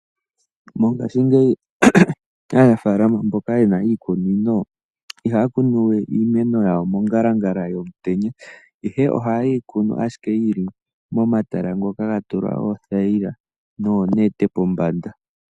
Mongashingeyi aanafaalama mboka ye na iikunino ihaya kunu we iimeno yawo mongalangala yomutenya, ihe ohaye yi kunu ashike yi li momatala ngoka ga tulwa oothayila noonete pombanda.